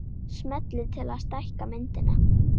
Smellið til að stækka myndina